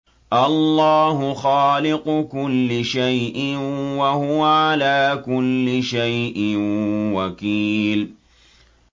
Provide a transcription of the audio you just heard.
اللَّهُ خَالِقُ كُلِّ شَيْءٍ ۖ وَهُوَ عَلَىٰ كُلِّ شَيْءٍ وَكِيلٌ